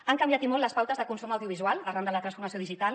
han canviat i molt les pautes de consum audiovisual arran de la transformació digital